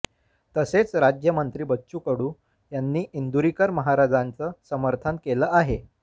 तसेच राज्यमंत्री बच्चू कडू यांनी इंदुरीकर महाराजांचं समर्थन केलं आहे